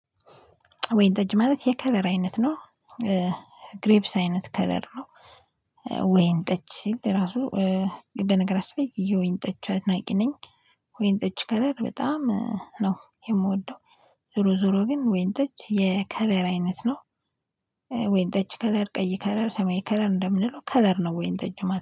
ወይን ጠጅ ማለት የከለር አይነት ነው። ግሬብስ አይነት ከለር ነው። ወይን ጠጅ ሲል ራሱ በነገራችን ላይ የወይን ጠጅ አድናቂ ነኝ። ወይን ጠጅ ከለር በጣም ነው የምወደው። ዞሮ ዞሮ ግን ወይን ጠጅ የከለር አይነት ነው። ወይን ጠጅ ከለር ቀይ ከለር ሰማይ ከለር እንደምንለው ከለር ነው ወይን ጠጅ ማለት